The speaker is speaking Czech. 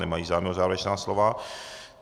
Nemají zájem o závěrečná slova.